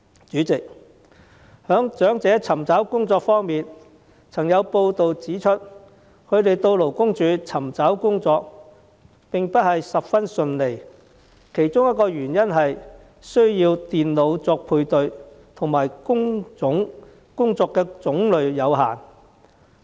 主席，在長者尋找工作方面，曾有報道指出，他們到勞工處尋找工作並不十分順利，其中一個原因是需要利用電腦作配對，亦因工作種類有限。